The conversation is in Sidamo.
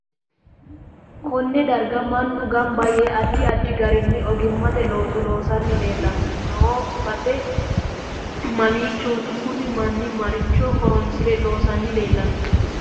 Konne darga mannu ganba yee addi addi garini oggimate looso loosani leelanni noo base mamiichooti kuni manni maricho horoosire loosani leelanno